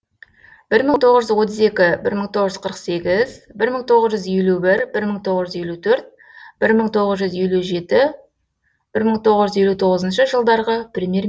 бір мың тоғыз жүз отыз екі бір мың тоғыз жүз қырық сегіз бір мың тоғыз жүз елу бір бір мың тоғыз жүз елу төрт бір мың тоғыз жүз елу жеті бір мың тоғыз жүз елу тоғызыншы жылдарғы премьер